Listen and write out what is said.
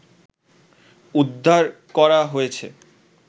উদ্ধার করা হয়েছে